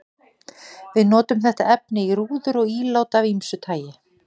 Við notum þetta efni í rúður og ílát af ýmsu tagi.